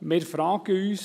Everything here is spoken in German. » Wir fragen uns: